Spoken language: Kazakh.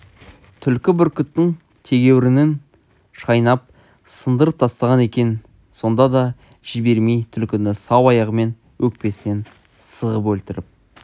түлкі бүркіттің тегеурінін шайнап сындырып тастаған екен сонда да жібермей түлкіні сау аяғымен өкпесінен сығып өлтіріп